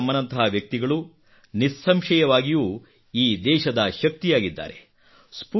ಭಾಗೀರಥಿ ಅಮ್ಮನಂತಹ ವ್ಯಕ್ತಿಗಳು ನಿಸ್ಸಂಶಯವಾಗಿಯೂ ಈ ದೇಶದ ಶಕ್ತಿಯಾಗಿದ್ದಾರೆ